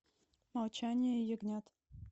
молчание ягнят